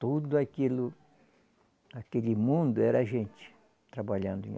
Tudo aquilo, aquele mundo era gente trabalhando.